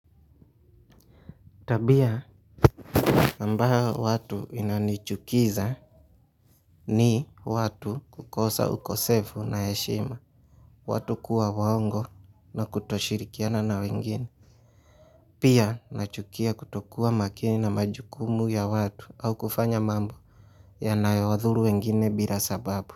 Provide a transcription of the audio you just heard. Tabia, ambayo watu inanichukiza ni watu kukosa ukosefu na heshima, watu kuwa waongo na kutoshirikiana na wengine, pia nachukia kutokuwa makini na majukumu ya watu au kufanya mambo ya nayawadhuru wengine bila sababu.